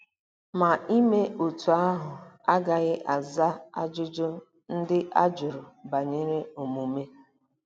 Ma ime otú ahụ agaghị aza ajụjụ ndị a jụrụ banyere omume.